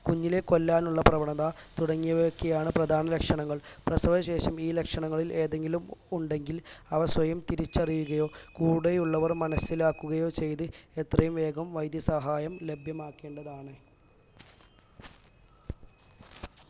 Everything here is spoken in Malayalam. കുഞ്ഞിനേ കൊല്ലാനുള്ള പ്രവണത തുടങ്ങിയവയൊക്കെയാണ് പ്രധാന ലക്ഷണങ്ങൾ പ്രസവശേഷം ഈ ലക്ഷണങ്ങളിൽ ഏതെങ്കിലും ഉണ്ടെങ്കിൽ അവ സ്വയം തിരിച്ചറിയുകയോ കൂടെ ഉള്ളവർ മനസിലാക്കുകയോ ചെയ്ത് എത്രയും വേഗം വൈദ്യസഹായം ലഭ്യമാക്കേണ്ടതാണ്.